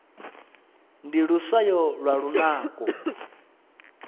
ndi luswayo lwa lunako